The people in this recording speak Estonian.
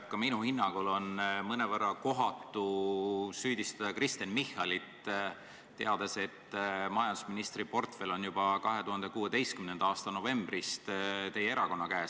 Ka minu hinnangul on mõnevõrra kohatu süüdistada Kristen Michalit, teades, et majandusministri portfell on juba 2016. aasta novembrist teie erakonna käes.